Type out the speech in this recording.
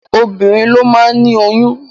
Obinrin ló máa ni oyún.